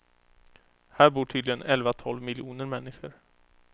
Här bor tydligen elva tolv miljoner människor.